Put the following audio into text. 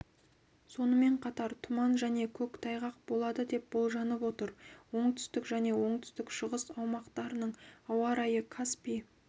сонымен қатар тұман және көктайғақ болады деп болжанып отыр оңтүстік және оңтүстік-шығыс аумақтарының ауа райы каспий